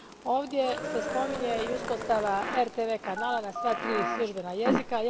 Ovdje se spominje i uspostava RTV kanala na sva tri službena jezika.